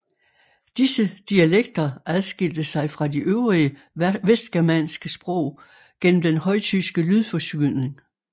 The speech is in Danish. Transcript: Disse dialekter adskilte sig fra de øvrige vestgermanske sprog gennem den højtyske lydforskydning